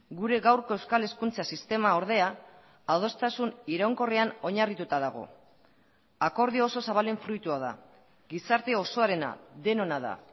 gure gaurko euskal hezkuntza sistema ordea adostasun iraunkorrean oinarrituta dago akordio oso zabalen fruitua da gizarte osoarena denona da